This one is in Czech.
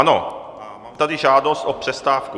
Ano, mám tady žádost o přestávku.